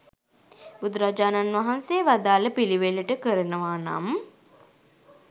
බුදුරජාණන් වහන්සේ වදාළ පිළිවෙලට කරනව නම්